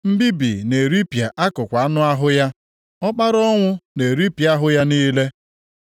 Mbibi na-eripịa akụkụ anụ ahụ ya; ọkpara ọnwụ na-eripịa ahụ ya niile.